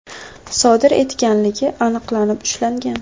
sodir etganligi aniqlanib ushlangan.